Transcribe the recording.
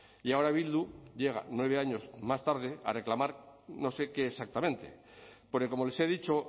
y ahora bildu llega nueve años más tarde a reclamar no sé qué exactamente porque como les he dicho